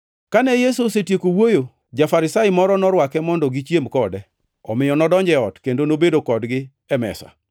Kane Yesu osetieko wuoyo, ja-Farisai moro norwake mondo gichiem kode, omiyo nodonjo ei ot kendo nobedo kodgi e mesa.